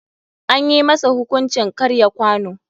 Anyi masa hukuncin karya kwano.